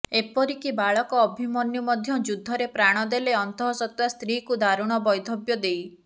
ଏପରିକି ବାଳକ ଅଭିମନ୍ୟୁ ମଧ୍ୟ ଯୁଦ୍ଧରେ ପ୍ରାଣ ଦେଲେ ଅନ୍ତଃସତ୍ତ୍ବା ସ୍ତ୍ରୀକୁ ଦାରୁଣ ବୈଧବ୍ୟ ଦେଇ